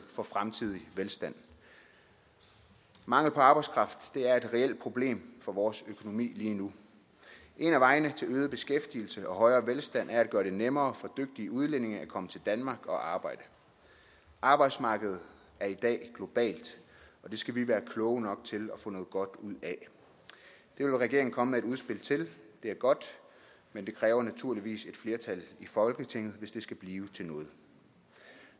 for fremtidig velstand mangel på arbejdskraft er et reelt problem for vores økonomi lige nu en af vejene til øget beskæftigelse og højere velstand er at gøre det nemmere for dygtige udlændinge at komme til danmark og arbejde arbejdsmarkedet er i dag globalt og det skal vi være kloge nok til at få noget godt ud af det vil regeringen komme med et udspil til det er godt men det kræver naturligvis et flertal i folketinget hvis det skal blive til noget